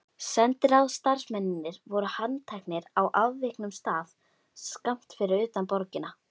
Sendiráðsstarfsmennirnir voru handteknir á afviknum stað skammt fyrir utan borgina.